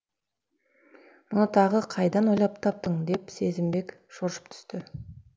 мұны тағы қайдан ойлап таптың деп сезімбек шошып түсті